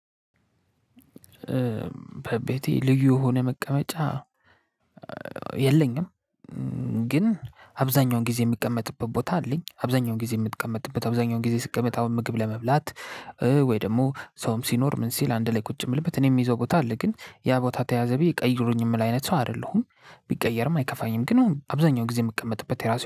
በቤቴ ልዩ ሆነ መቀመጫ የለኝም። ግን አብዛኛውን ጊዜ የሚቀመጥበት ቦታ አለኝ። አብዛኛውን ጊዜ የምትቀመጥበት አብዛኛውን ጊዜ ስትቀመጥ አሁን ምግብ ለመብላት ወይ ደግሞ ሰውም ሲኖር ምን ሲል አንድ ላይ ቁጭ የምልበት እኔ የምይዘው ቦታ አለ። ግን ያ ቦታ ተያዘ ብየ ቀይሩኝ የምል አይነት ሰው አይደለሁም ቢቀየርም አይከፋኝም። ግን አብዛኛው ጊዜ የምቀመጥበት የራሱ